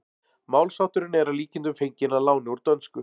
Málshátturinn er að líkindum fenginn að láni úr dönsku.